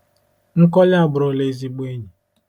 Nkoli aburula ezigbo enyi.